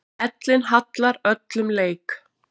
Ellin hallar öllum leik.